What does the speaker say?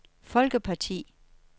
folkeparti